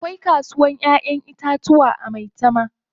Akwai kasuwar Ƴaƴan itatuwa a Maitama.